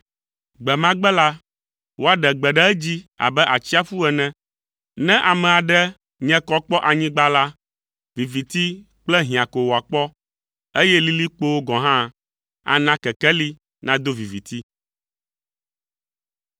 Gbe ma gbe la, woaɖe gbe ɖe edzi abe atsiaƒu ene. Ne ame aɖe nye kɔ kpɔ anyigba la, viviti kple hiã ko wòakpɔ, eye lilikpowo gɔ̃ hã ana kekeli nado viviti.